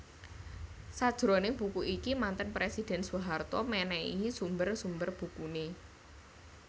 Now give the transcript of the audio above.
Sajroning buku iki manten presiden Soeharto mènèhi sumber sumber bukuné